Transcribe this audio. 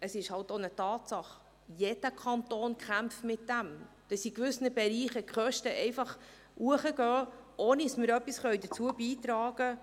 Es ist auch eine Tatsache – jeder Kanton kämpft damit –, dass in gewissen Bereichen die Kosten einfach steigen, ohne dass wir etwas dazu beitragen.